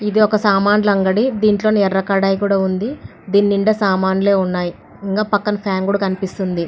ఇది ఒక సామాల్ అంగడి. దీంట్లోని ఎర్ర కడాయి కూడా ఉంది. దీని నిండా సామాన్లే ఉన్నాయి. పక్కన ఫ్యాన్ కూడా కనిపిస్తుంది.